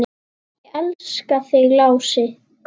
Ég elska þig, Lási.